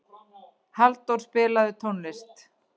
Hallþór, spilaðu tónlist.